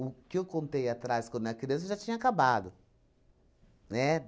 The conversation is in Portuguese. O que eu contei atrás, quando eu era criança, já tinha acabado, né?